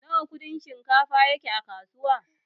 Nawa Kudin shinkafa yake a kasuwa?